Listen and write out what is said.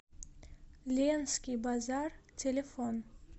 ленский базар телефон